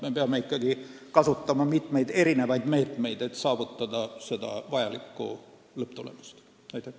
Me peame ikkagi kasutama mitut meedet, selleks et vajalikku lõpptulemust saavutada.